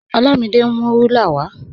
Olamide n mú rúlà wà.